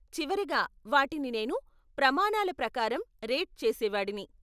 చివరగా, వాటిని నేను ప్రమాణాల ప్రకారం రేట్ చేసేవాడిని.